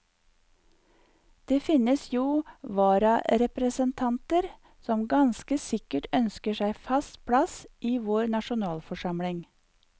Det fins jo vararepresentanter som ganske sikkert ønsker seg fast plass i vår nasjonalforsamling.